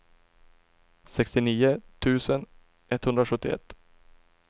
sextionio tusen etthundrasjuttioett